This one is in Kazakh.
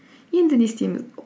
енді не істейміз